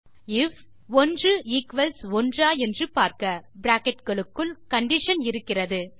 if bracket க்குள் condition இருக்கிறது 1 equals 1 ஆ என்று பார்க்க